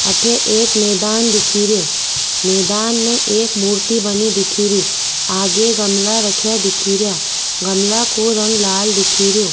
अठे एक मैदान दिख रो मैदान में एक मूर्ति बनी दिख री आगे गमला राख्या दिख रो गमला को रंग लाल दिख रो।